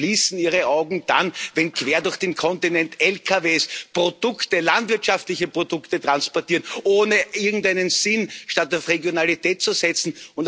Sie schließen Ihre Augen dann, wenn quer durch den Kontinent LKWs landwirtschaftliche Produkte transportieren, ohne irgendeinen Sinn, statt auf Regionalität zu setzen.